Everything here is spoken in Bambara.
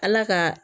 Ala ka